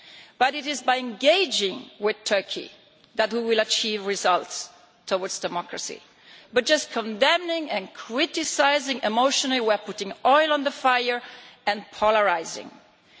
But it is by engaging with Turkey that we will achieve results towards democracy. By just condemning and criticising emotionally we are adding fuel to the fire and polarising people.